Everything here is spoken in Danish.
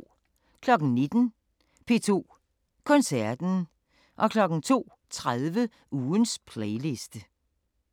19:00: P2 Koncerten 02:30: Ugens playliste